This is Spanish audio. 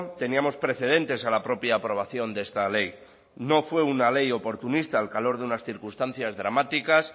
teníamos precedentes a la propia aprobación de esta ley no fue una ley oportunista al calor de unas circunstancias dramáticas